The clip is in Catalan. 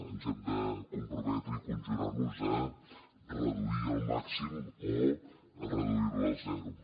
ens hem de comprometre i conjurar nos a reduir la al màxim o a reduir la a zero